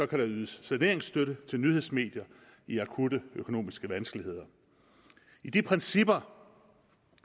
kan der ydes saneringsstøtte til nyhedsmedier i akutte økonomiske vanskeligheder i de principper